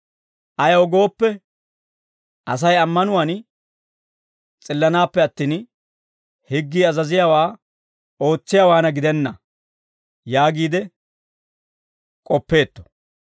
Ayaw gooppe, Asay ammanuwaan s'illanaappe attin, higgii azaziyaawaa ootsiyaawaana gidenna yaagiide k'oppeetto.